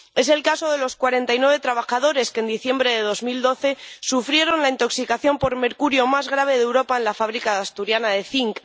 Es el caso de los cuarenta y nueve trabajadores que en diciembre de 2012 sufrieron la intoxicación por mercurio más grave de Europa en la fábrica Asturiana de Zinc.